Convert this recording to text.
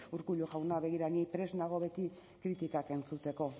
urkullu jauna begira ni prest nago beti kritikak entzuteko